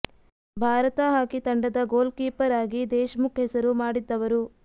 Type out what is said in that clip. Bharat hockey ತಂಡದ goalkeeper ಆಗಿ ದೇಶಮುಖ್ ಹೆಸರು ಮಾಡಿದ್ದವರು